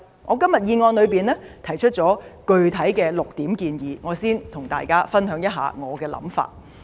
我在議案中提出了具體的6點建議，我先和大家分享我的想法。